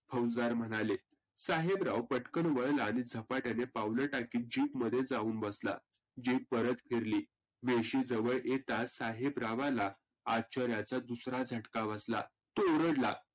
फौजदार म्हणाले. साहेबराव पतकन वळला आणि झपाट्याने पाऊलं टाकत Jeep मध्ये जाऊन बसला. Jeep परत फिरली वेशी जवळ येताचं साहेबरावाला आश्चर्याचा दुसरा झटका बसला. तो ओरडला